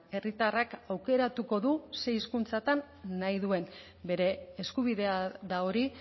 herritarrak aukeratuko du zein hizkuntzatan nahi duen bere eskubidea da hori